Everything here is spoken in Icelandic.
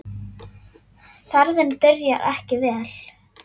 Ferðin byrjaði ekki vel.